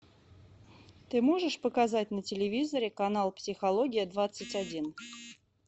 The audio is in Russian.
ты можешь показать на телевизоре канал психология двадцать один